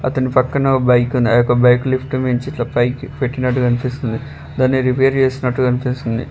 అతని పక్కన ఒ బైక్ ఉంది ఆ యొక్క బైక్ లిఫ్ట్ నుంచి ఇట్ల పైకి పెట్టినట్టు కనిపిస్తుంది దాన్ని రిపేర్ చేస్తున్నట్టు గన్పిస్తుంది.